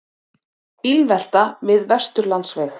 Bílvelta við Vesturlandsveg